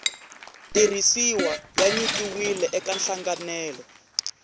tirhisiwa ya nyikiwile eka nhlanganelo